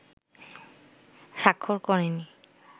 স্বাক্ষর করেনি